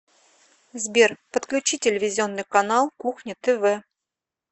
сбер подключи телевизионный канал кухня тв